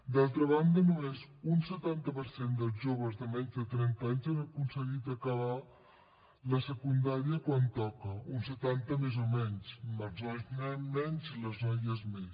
d’altra banda només un setanta per cent dels joves de menys de trenta anys han aconseguit acabar la secundària quan toca un setanta més o menys amb els nois menys i les noies més